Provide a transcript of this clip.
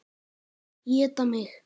Éta mig.